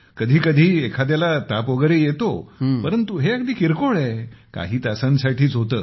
कधीकधी एखाद्याला ताप वगैरे येतो परंतु हे अगदी किरकोळ आहे काही तासांसाठीच होते